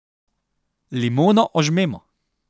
Limono ožmemo.